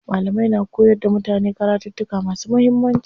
Malamai na koyar da mutane karattuka masu muhimmanci.